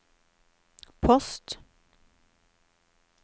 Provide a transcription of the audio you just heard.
post